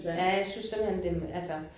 Ja jeg synes simpelthen det altså